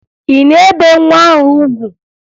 Ị na-ebe nwa ahụ ugwu?